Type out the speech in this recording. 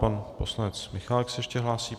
Pan poslanec Michálek se ještě hlásí.